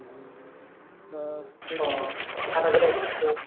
আহ ওহ হাঁটাচলা করছিলাম।